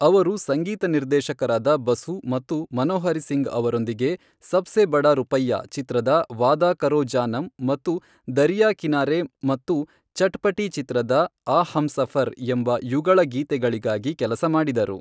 ಅವರು ಸಂಗೀತ ನಿರ್ದೇಶಕರಾದ ಬಸು ಮತ್ತು ಮನೋಹರಿ ಸಿಂಗ್ ಅವರೊಂದಿಗೆ, ಸಬ್ಸೆ ಬಡಾ ರುಪೈಯಾ ಚಿತ್ರದ ವಾದಾ ಕರೋ ಜಾನಮ್ ಮತ್ತು ದರಿಯಾ ಕಿನಾರೆ ಮತ್ತು ಚಟ್ಪಟೀ ಚಿತ್ರದ ಆ ಹಮ್ಸಫರ್ ಎಂಬ ಯುಗಳ ಗೀತೆಗಳಿಗಾಗಿ ಕೆಲಸ ಮಾಡಿದರು.